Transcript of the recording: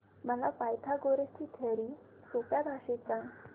मला पायथागोरस ची थिअरी सोप्या भाषेत सांग